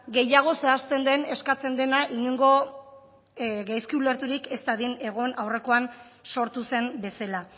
gehiago zehazten den eskatzen dena inongo gaizki ulerturik ez dadin egon aurrekoan sortu zen bezala